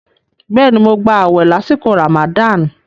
Bẹ́ẹ̀ni, mo gbà àwẹ̀ lásìkò Ramadan.